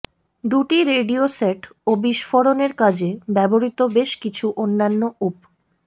দুটি radio set ও বিস্ফোরণের কাজে ব্যবহৃত বেশ কিছু অন্যান্য উপ